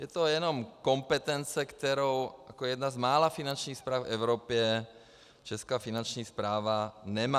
Je to jenom kompetence, kterou jako jedna z mála finančních správ v Evropě česká Finanční správa nemá.